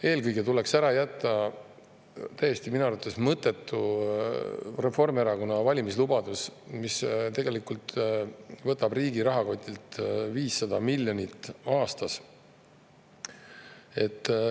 Eelkõige tuleks ära jätta minu arvates täiesti mõttetu Reformierakonna valimislubadus, mis tegelikult võtab riigi rahakotist 500 miljonit aastas.